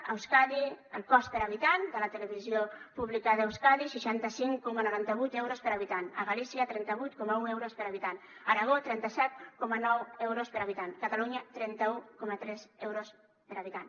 a euskadi el cost per habitant de la televisió pública d’euskadi seixanta cinc coma noranta vuit euros per habitant a galícia trenta vuit coma un euros per habitant aragó trenta set coma nou euros per habitant catalunya trenta un coma tres euros per habitant